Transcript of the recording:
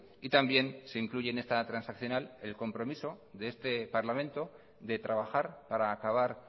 y también se incluye en esta transaccional el compromiso de este parlamento de trabajar para acabar